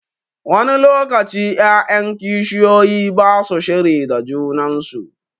Wani lokaci 'ya'yan kishiyoyi ba su shiri da junan su.